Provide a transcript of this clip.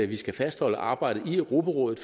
vi skal fastholde arbejdet i europarådet